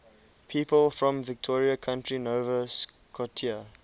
people from victoria county nova scotia